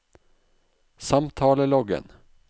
samtaleloggen